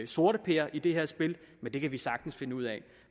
sorteper i det her spil men det kan vi sagtens finde ud af